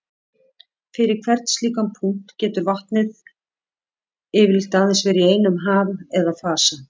Fyrir hvern slíkan punkt getur vatnið getur yfirleitt aðeins verið í einum ham eða fasa.